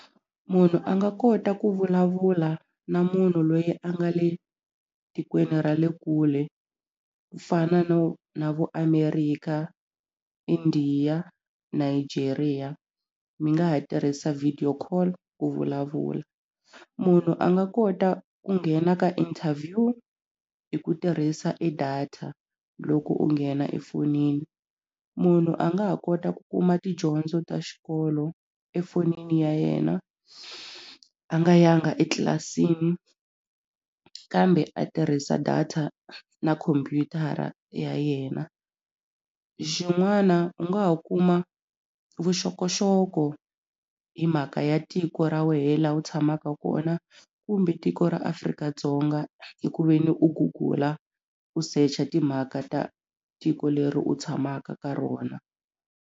Munhu a nga kota ku vulavula na munhu loyi a nga le tikweni ra le kule ku fana na vo America India Iigeria mi nga ha tirhisa video call ku vulavula munhu a nga kota ku nghena ka interview hi ku tirhisa e data loko u nghena efonini munhu a nga ha kota ku kuma tidyondzo ta xikolo efonini ya yena a nga yanga etlilasini kambe a tirhisa data na khompyutara ya yena xin'wana u nga ha kuma vuxokoxoko hi mhaka ya tiko ra wena laha u tshamaka kona kumbe tiko ra Afrika-Dzonga hi ku ve ni u gugula u secha timhaka ta tiko leri u tshamaka ka rona.